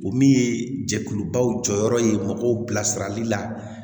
O min ye jɛkulubaw jɔyɔrɔ ye mɔgɔw bilasirali la